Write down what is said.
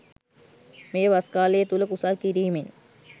මේ වස් කාලය තුල කුසල් කිරීමෙන්